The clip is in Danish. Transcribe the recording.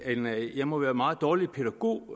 jeg må være en meget dårlig pædagog